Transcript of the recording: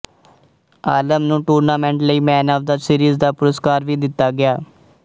ਆਲਮ ਨੂੰ ਟੂਰਨਾਮੈਂਟ ਲਈ man of the series ਦਾ ਪੁਰਸਕਾਰ ਵੀ ਦਿੱਤਾ ਗਿਆ